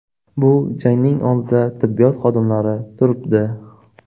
Bu jangning oldida tibbiyot xodimlari turibdi.